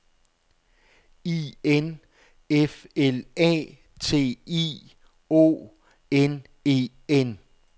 I N F L A T I O N E N